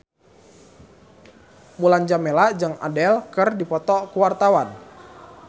Mulan Jameela jeung Adele keur dipoto ku wartawan